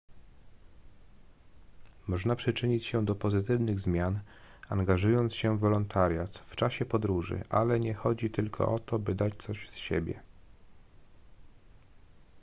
można przyczynić się do pozytywnych zmian angażując się w wolontariat w czasie podróży ale nie chodzi tylko o to by dać coś z siebie